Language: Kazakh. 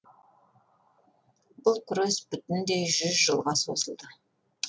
бұл күрес бүтіндей жүз жылға созылды